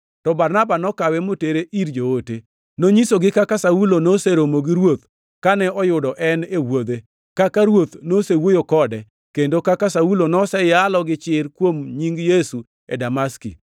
To Barnaba nokawe motere ir joote. Nonyisogi kaka Saulo noseromo gi Ruoth kane oyudo en e wuodhe, kaka Ruoth nosewuoyo kode, kendo kaka Saulo noseyalo gi chir kuom nying Yesu e Damaski.